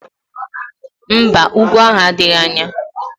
Mba, úgwú ahụ adịghị anya